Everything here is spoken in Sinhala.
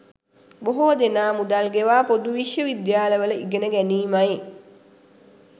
බොහෝ දෙනා 'මුදල් ගෙවා පොදු විශ්ව විද්‍යාලවල ඉගෙන ගැනීමයි'